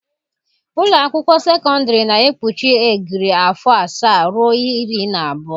Ụlọ akwụkwọ sekọndrị na-ekpuchi egiri afọ asaa ruo iri na abụọ.